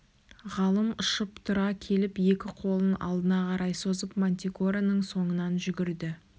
ғалым ұшып тұра келіп екі қолын алдына қарай созып мантикораның соңынан жүгірді